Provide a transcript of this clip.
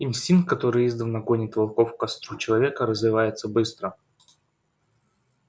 инстинкт который издавна гонит волков к костру человека развивается быстро